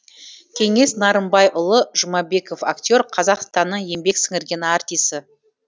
кеңес нарымбайұлы жұмабеков актер қазақстанның еңбек сіңірген артисі